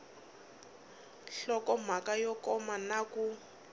nhlokomhaka yo koma na ku